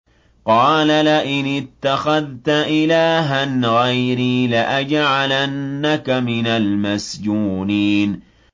قَالَ لَئِنِ اتَّخَذْتَ إِلَٰهًا غَيْرِي لَأَجْعَلَنَّكَ مِنَ الْمَسْجُونِينَ